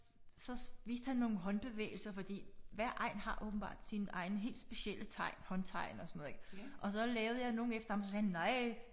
Så viste han nogle håndbevægelser fordi hver egn har åbenbart sine egne helt specielle tegn håndtegn og sådan noget ik og så lavede jeg nogle efter ham så sagde han nej